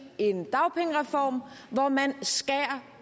en dagpengereform hvor man skærer